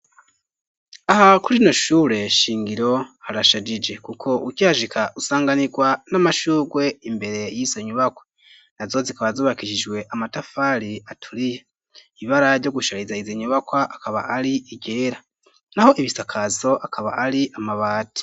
Aha kurino shure shingiro harashajije kuko ukihashika usanganirwa n'amashurwe imbere y'izo nyubakwa nazo zikaba zubakishijwe amatafari aturiye ibibara ryo gushariza izi nyubakwa akaba ari igera naho ibisakazo akaba ari amabati.